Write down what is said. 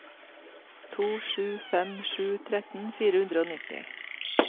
to sju fem sju tretten fire hundre og nitti